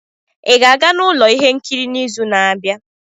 Ị ga-aga n'ụlọ ihe nkiri n'izu na-abịa?